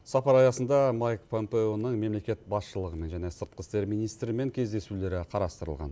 сапар аясында майк помпеоның мемлекет басшылығымен және сыртқы істер министрімен кездесулері қарастырылған